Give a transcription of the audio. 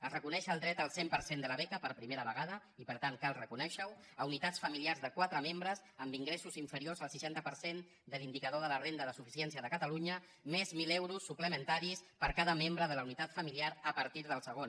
es reconeix el dret al cent per cent de la beca per primera vegada i per tant cal reconèixer ho a unitats familiars de quatre membres amb ingressos inferiors al seixanta per cent de l’indicador de la renda de suficiència de catalunya més mil euros suplementaris per cada membre de la unitat familiar a partir del segon